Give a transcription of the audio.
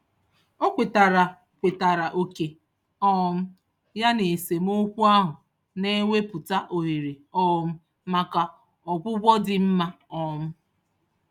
O kwetara kwetara oke um ya n'esemokwu ahụ, na-ewepụta ohere um maka ọgwụgwọ dị mma. um